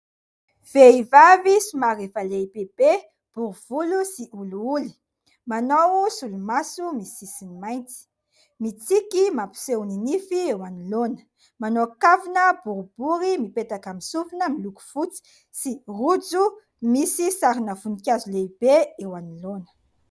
Vehivavy somary efa lehibebe, bory volo sy olioly : manao solomaso misy sisiny mainty, mitsiky mampiseho ny nify eo anoloana, manao kavina boribory mipetaka amin'ny sofina miloko fotsy sy rojo misy sarina voninkazo lehibe eo anoloana.